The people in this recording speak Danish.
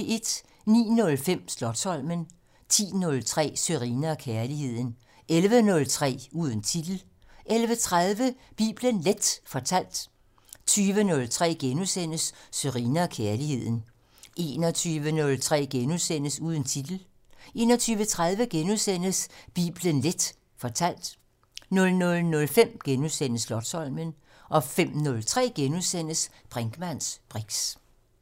09:05: Slotsholmen 10:03: Sørine & Kærligheden 11:03: Uden titel 11:30: Bibelen Leth fortalt 20:03: Sørine & Kærligheden * 21:03: Uden titel * 21:30: Bibelen Leth fortalt * 00:05: Slotsholmen * 05:03: Brinkmanns briks *